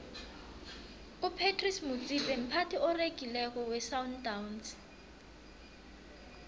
upratice motsipe mphathi oregileko wesandawnsi